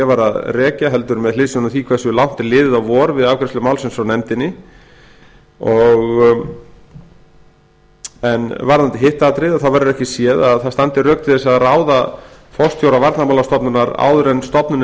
að rekja heldur með hliðsjón af því hversu langt er liðið á vor við afgreiðslu málsins frá nefndinni varðandi hitt atriði verður ekki séð að rök standi til þess að ráða forstjóra varnarmálastofnunar áður en stofnunin